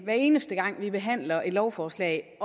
hver eneste gang vi behandler et lovforslag